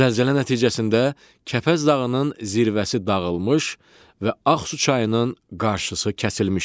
Zəlzələ nəticəsində Kəpəz dağının zirvəsi dağılmış və Ağsu çayının qarşısı kəsilmişdir.